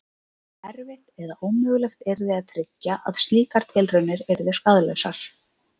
Erfitt eða ómögulegt yrði að tryggja að slíkar tilraunir yrðu skaðlausar.